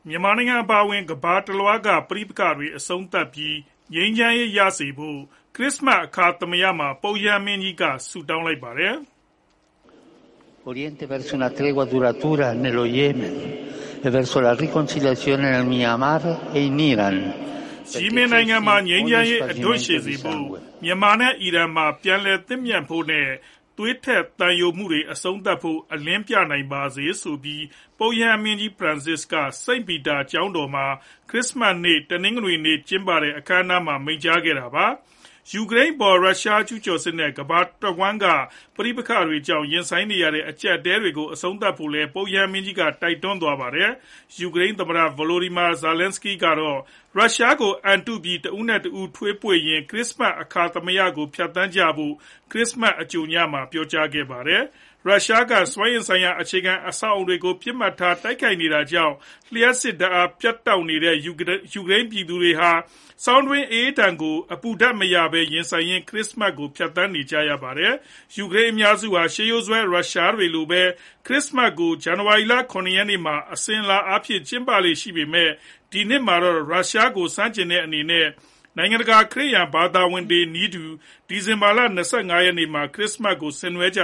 မြန်မာနိုင်ငံ အပါအဝင် ကမ္ဘာတလွှားက ပဋိပက္ခတွေအဆုံးသတ်ပြီး၊ ငြိမ်းချမ်းရေးရစေဖို့ ခရစ္စမတ် အခါသမယ မှာ ပုပ်ရဟန်းမင်းကြီးက ဆုတောင်းလိုက်ပါတယ်။ “ယီမင်နိုင်ငံမှာ ငြိမ်းချမ်းရေး အဓွန့်ရှည်စေဖို့၊ မြန်မာနဲ့ အီရန်မှာ ပြန်လည်သင့်မြတ်ဖို့နဲ့ သွေးထွက်သံယိုမှုတွေ အဆုံးသတ်ဖို့ အလင်းပြနိုင်ပါစေ။” ဆိုပြီး ပုပ်ရဟန်းမင်းကြီး ဖရန်စစ်က စိန့်ပီတာကျောင်းတော်မှာ ခရစ္စမတ်နေ့ တနင်္ဂနွေနေ့ ကျင်းပတဲ့ အခမ်းအနားမှာ မိန့်ကြားခဲ့တာပါ။ ယူကရိန်းအပေါ် ရုရှားကျုးကျော်စစ်နဲ့ ကမ္ဘာတဝှမ်းက ပဋိပက္ခတွေကြောင့် ရင်ဆိုင်နေရတဲ့ အကျပ်အတည်းတွေကို အဆုံးသတ်ဖို့လည်း ပုပ်ရဟန်းမင်းကြီးက တိုက်တွန်းသွားပါတယ်။ ယူကရိန်း သမ္မတ Volodymyr Zelenskiy ကတော့ ရုရှားကို အံတုပြီး တဦးနဲ့တဦ ထွေးပွေ့ရင်း ခရစ္စမတ် အခါသမယကို ဖြတ်သန်းကြဖို့ ခရစ်စမတ် အကြိုညမှာပဲ ပြောကြားခဲ့တာပါ။ ရုရှားက စွမ်းအင်ဆိုင်ရာ အခြေခံအဆောက်အအုံတွေကို ပစ်မှတ်ထား တိုက်ခိုက်နေတာကြောင့် လျှပ်စစ်ဓာတ် ပြတ်လပ်နေတဲ့ ယူကရိန်းပြည်သူတွေဟာ ဆောင်းတွင်းအအေးဒဏ်ကို အပူဓာတ်မရဘဲ ရင်ဆိုင်ရင်း ခရစ္စမတ်ကို ဖြတ်သန်းနေကြရပါတယ်။ ယူကရိန်းအများစုဟာ ရှေးရိုးစွဲ ရုရှားတွေလိုပဲ ခရစ္စမတ်ကို ဇန်နဝါရီလ ၇ ရက်နေ့မှာ အစဉ်အလာအားဖြင့် ကျင်းပလေ့ရှိပေမဲ့ ဒီနှစ်မှာတော့ ရုရှားကို ဆန့်ကျင်တဲ့အနေနဲ့ နိုင်ငံတကာက ခရစ်ယာန် ဘာသာဝင်တွေနည်းတူ ဒီဇင်ဘာလ ၂၅ နေ့မှာ ခရစ္စမတ်ပွဲကို ဆင်နွှဲခဲ့ကြ